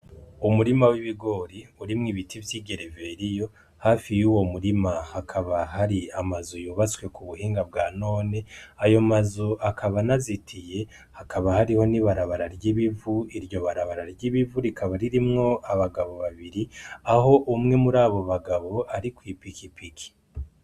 Umurima w'ibigori urimwo ibiti vy'igereveriyo, hafi yuwo murima hakaba hari amazu yubatse mu buhinga bwa none, ayo mazu akaba anazitiye hakaba hariho n'ibarabara ry'ibivu, iryo barabara ry'ibivu rikaba ririmwo abagabo babiri aho umwe muri abo bagabo ari kwipikipiki.